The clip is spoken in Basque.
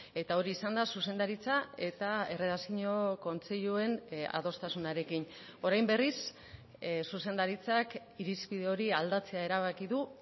eta hori izan da zuzendaritza eta erredakzio kontseiluen adostasunarekin orain berriz zuzendaritzak irizpide hori aldatzea erabaki du